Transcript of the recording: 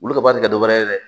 Wulu ka baara tɛ dɔ wɛrɛ ye dɛ